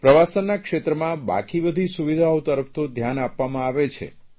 પ્રવાસનના ક્ષેત્રમાં બાકી બધી સુવિધાઓ તરફ તો ધ્યાન આપવામાં આવે છે